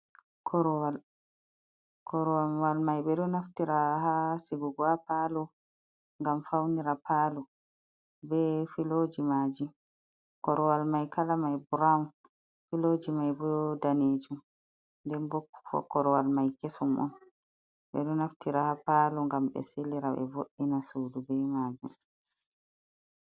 Korowwal, korowwal mai ɓe ɗo naftira ha sigugo ha palo ngam faunira pal be filoji maji, korowal mai kala mai brawn filoji mai bo ɗanejum den bo korowal mai kesum on ɓeɗo naftira ha palo gam be silira be voina sudu be majum.